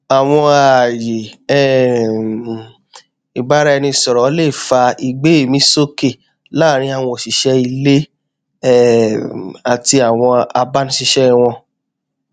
àwọn ààyè um ìbáraẹnisọrọ lè fa ìgbéẹmísókè láàrin àwọn òṣìṣẹ ilé um àti àwọn agbanisíṣẹ wọn